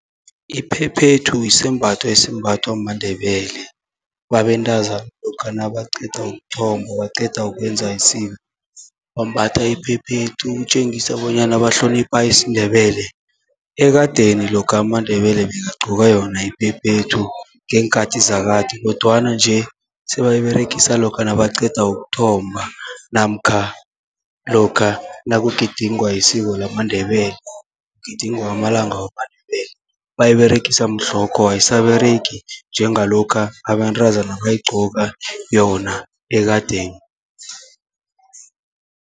Iphephethu yisembatho esimbathwa maNdebele babentazana, lokha nabaqeda ukuthomba baqeda ukwenza isiko, bambatha iphephethu ukutjengisa bonyana bahlonipha isiNdebele. Ekadeni lokha amaNdebele bekagcoka yona iphephethu, ngeenkhati zakade kodwana nje sebayiberegisa lokha nabaqeda ukuthomba. Namkha lokha nakugidingwa isiko lamaNdebele, kugidingwa amalanga wamaNdebele bayiberegisa mhlokho ayisaberegi njengalokha abantazana bayigcoka yona ekadeni.